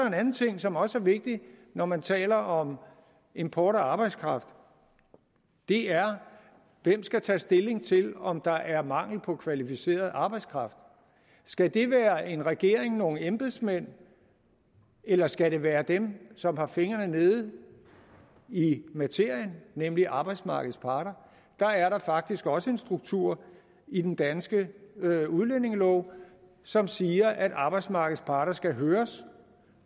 en anden ting som også er vigtig når man taler om import af arbejdskraft det er hvem skal tage stilling til om der er mangel på kvalificeret arbejdskraft skal det være en regering nogle embedsmænd eller skal det være dem som har fingrene nede i materien nemlig arbejdsmarkedets parter der er faktisk også en struktur i den danske udlændingelov som siger at arbejdsmarkedets parter skal høres